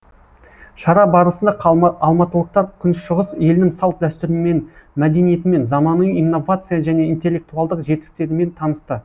шара барысында алматылықтар күншығыс елінің салт дәстүрімен мәдениетімен заманауи инновация және интеллектуалдық жетістіктерімен танысты